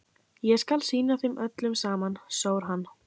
Ég skal sýna þeim öllum saman, sór hann.